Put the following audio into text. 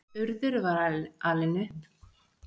Urður var alin upp við að bera ekki harm sinn á torg.